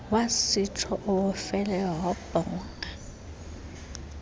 wasitsho esofelweyo wabhonga